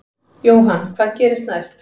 Jóhann: Hvað gerist næst?